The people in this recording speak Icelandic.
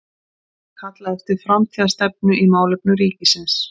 Kalla eftir framtíðarstefnu í málefnum ríkisins